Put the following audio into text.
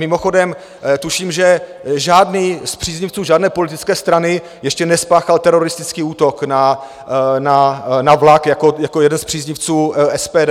Mimochodem tuším, že žádný z příznivců žádné politické strany ještě nespáchal teroristický útok na vlak jako jeden z příznivců SPD.